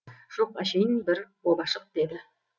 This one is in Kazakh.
жоқ әшейін бір обашық деді